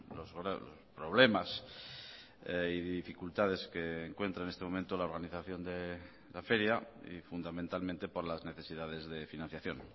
los problemas y dificultades que encuentra en este momento la organización de la feria y fundamentalmente por las necesidades de financiación